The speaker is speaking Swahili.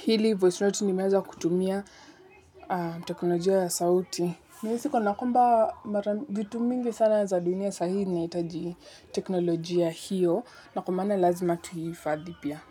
hili voice note nimeweza kutumia teknolojia ya sauti. Nahisiko, na kwamba vitu mingi sana za dunia saa hii zinahitaji teknolojia hiyo, na kwa maana lazima tuihifadhi pia.